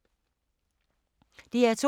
DR2